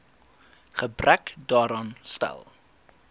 gebrek daaraan stel